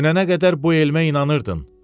Dünənə qədər bu elmə inanırdın.